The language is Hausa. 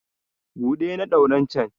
buɗe na ɗauren can!